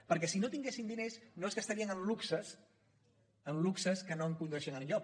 perquè si no tinguessin diners no se’n gastarien en luxes en luxes que no condueixen enlloc